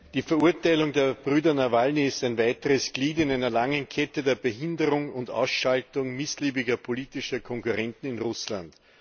Die Verurteilung der Brüder Nawalny ist ein weiteres Glied in einer langen Kette der Behinderung und Ausschaltung missliebiger politischer Konkurrenten in Russland.